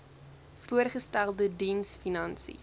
voorgestelde diens finansies